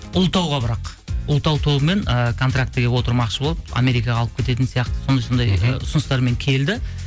ұлытауға бірақ ұлытау тобымен ыыы контрактіге отырмақшы болып америкаға алып кететін сияқты сондай сондай ы ұсыныстармен келді